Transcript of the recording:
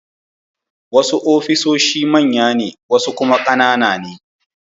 Wasu ofisoshi manya ne wasu kuma ƙanana ne.